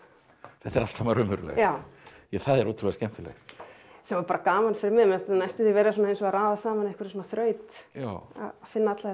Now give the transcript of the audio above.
þetta er allt saman raunverulegt já það er ótrúlega skemmtilegt sem var gaman fyrir mig mér fannst ég næstum vera að raða saman einhverri þraut að finna alla þessa